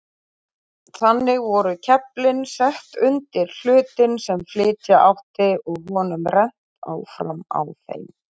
Þannig voru keflin sett undir hlutinn sem flytja átti og honum rennt áfram á þeim.